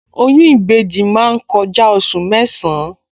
Oyún ìbejì máa ń kọjá oṣù mẹ́san-án